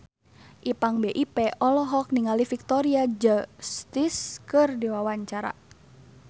Ipank BIP olohok ningali Victoria Justice keur diwawancara